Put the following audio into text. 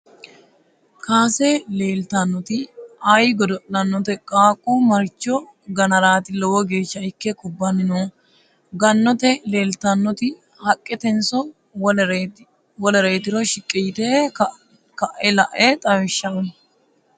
Kaasse leelitannoti ayi godo'lannote qaaqu maricho gannaraati lowo geesha ikke kubbanni noohu? gonnete leelitannoti haqqetenso wolereetiro shiqi yitte ka'e la'e xawisha uyi?